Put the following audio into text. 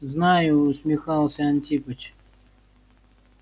знаю усмехался антипыч